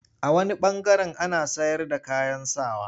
A wani ɓangaren ana sayarda kayan sa wa.